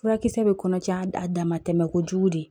Furakisɛ bɛ kɔnɔcaa a damatɛmɛ kojugu de